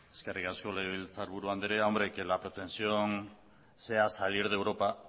eskerrik asko legebiltzarburu andrea hombre que la pretensión sea salir de europa